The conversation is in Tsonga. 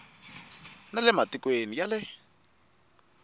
na le matikweni ya le